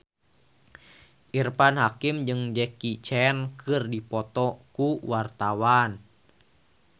Irfan Hakim jeung Jackie Chan keur dipoto ku wartawan